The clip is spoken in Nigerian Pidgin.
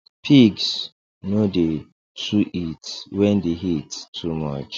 pigs no dey too eat wen d heat too much